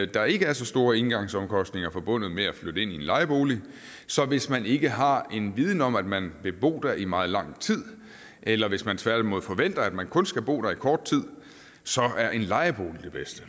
der ikke er så store engangsomkostninger forbundet med at flytte ind i en lejebolig så hvis man ikke har en viden om at man vil bo der i meget lang tid eller hvis man tværtimod forventer at man kun skal bo der i kort tid så er en lejebolig det bedste